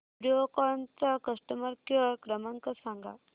व्हिडिओकॉन चा customer care क्रमांक सांगा